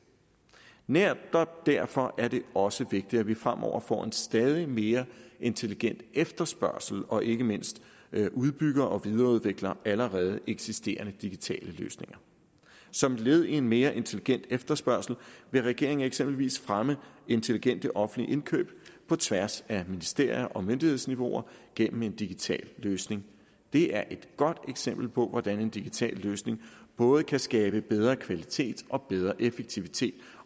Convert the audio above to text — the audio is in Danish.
netop derfor er det også vigtigt at vi fremover får en stadig mere intelligent efterspørgsel og ikke mindst udbygger og videreudvikler allerede eksisterende digitale løsninger som led i en mere intelligent efterspørgsel vil regeringen eksempelvis fremme intelligente offentlige indkøb på tværs af ministerier og myndighedsniveauer gennem en digital løsning det er et godt eksempel på hvordan en digital løsning både kan skabe bedre kvalitet og bedre effektivitet